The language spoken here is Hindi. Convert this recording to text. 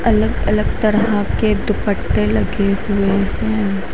अलग अलग तरह के दुपटे लगे हुए है।